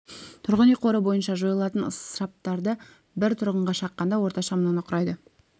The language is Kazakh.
тұрғын үй қоры бойынша жойылатын ысыраптар бір тұрғынға шаққанда орташа мынаны құрайды